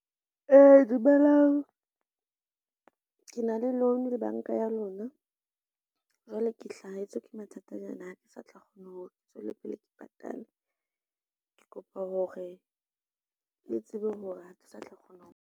Dumelang ke na le loan le banka ya lona. Jwale ke hlahetswe ke mathata nyana ha ke sa tla kgona hore ke tswele pele ke patale. Ke kopa hore le tsebe hore ha ke sa tla kgona ho.